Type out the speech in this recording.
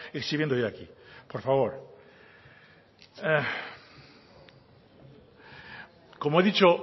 exhibiendo hoy aquí por favor como he dicho